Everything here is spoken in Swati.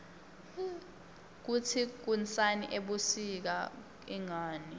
kutsi kunsani ebusika ingani